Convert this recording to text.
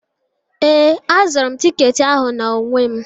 Ee, azụrụ m tiketi ahụ n'onwe m.